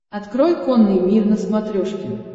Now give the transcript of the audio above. открой конный мир на смотрешке